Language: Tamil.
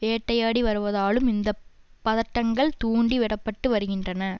வேட்டையாடி வருவதாலும் இந்த பதட்டங்கள் தூண்டி விட பட்டு வருகின்றன